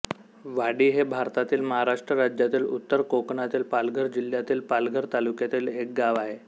वाढी हे भारतातील महाराष्ट्र राज्यातील उत्तर कोकणातील पालघर जिल्ह्यातील पालघर तालुक्यातील एक गाव आहे